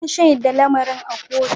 Na shaida lamarin a kotu.